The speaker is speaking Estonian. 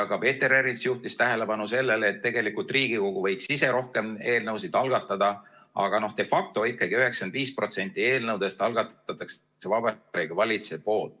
Ka Peeter Ernits juhtis tähelepanu sellele, et Riigikogu võiks ise rohkem eelnõusid algatada, aga de facto ikkagi 95% eelnõudest algatab Vabariigi Valitsus.